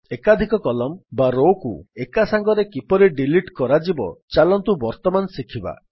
ଏକାଧିକ କଲମ୍ନ ବା Rowକୁ ଏକା ସାଙ୍ଗରେ କିପରି ଡିଲିଟ୍ କରାଯିବ ଚାଲନ୍ତୁ ବର୍ତ୍ତମାନ ଶିଖିବା